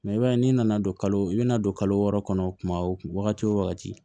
i b'a ye n'i nana don i bɛna don kalo wɔɔrɔ kɔnɔ kuma o wagati o wagati